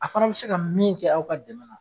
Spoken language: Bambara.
A fana bi se ka min kɛ, aw ka dɛmɛ na